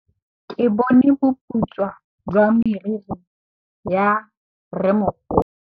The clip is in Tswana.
Ke bone boputswa jwa meriri ya rrêmogolo.